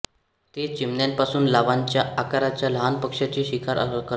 ते चिमण्यांपासून लावांच्या आकाराच्या लहान पक्ष्यांची शिकार करतात